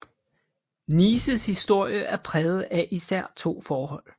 Nices historie er præget af især to forhold